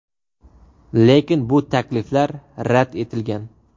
Lekin bu takliflar rad etilgan.